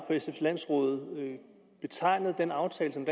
sfs landsråd betegnet den aftale som